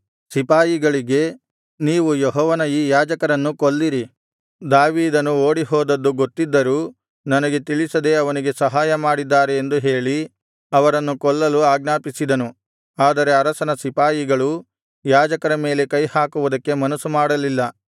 ಸಿಪಾಯಿಗಳಿಗೆ ನೀವು ಯೆಹೋವನ ಈ ಯಾಜಕರನ್ನು ಕೊಲ್ಲಿರಿ ದಾವೀದನು ಓಡಿಹೋದದ್ದು ಗೊತ್ತಿದ್ದರೂ ನನಗೆ ತಿಳಿಸದೇ ಅವನಿಗೆ ಸಹಾಯ ಮಾಡಿದ್ದಾರೆ ಎಂದು ಹೇಳಿ ಅವರನ್ನು ಕೊಲ್ಲಲು ಆಜ್ಞಾಪಿಸಿದನು ಆದರೆ ಅರಸನ ಸಿಪಾಯಿಗಳು ಯಾಜಕರ ಮೇಲೆ ಕೈಹಾಕುವುದಕ್ಕೆ ಮನಸ್ಸು ಮಾಡಲಿಲ್ಲ